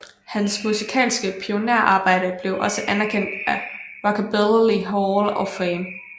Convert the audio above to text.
Hans musikalske pionærarbejde blev også anerkendt af Rockabilly Hall of Fame